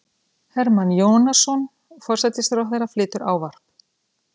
Hermann Jónasson, forsætisráðherra, flytur ávarp.